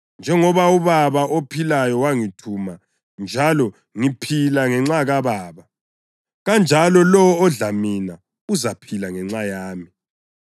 Njengoba uBaba ophilayo wangithuma njalo ngiphila ngenxa kaBaba, kanjalo lowo odla mina uzaphila ngenxa yami.